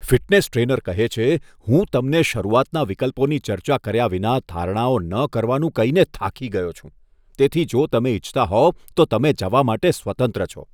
Fitness trainer કહે છે, હું તમને શરૂઆતના વિકલ્પોની ચર્ચા કર્યા વિના ધારણાઓ ન કરવાનું કહીને થાકી ગયો છું, તેથી જો તમે ઇચ્છતા હોવ, તો તમે જવા માટે સ્વતંત્ર છો.